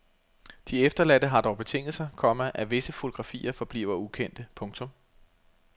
De efterladte har dog betinget sig, komma at visse fotografier forbliver ukendte. punktum